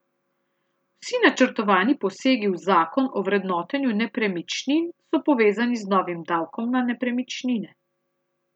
Vsi načrtovani posegi v zakon o vrednotenju nepremičnin so povezani z novim davkom na nepremičnine.